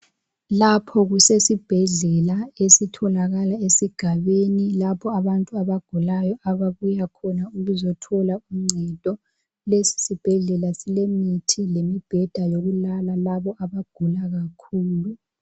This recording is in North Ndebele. Lapho kusesibhedlela esitholakala esigabeni lapho abantu abagulayo ababuya khona ukuzothola uncedo. Lesi sibhedlela silemithi lemibheda yokulala labo abagula kakhulu.